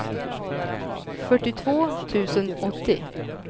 fyrtiotvå tusen åttio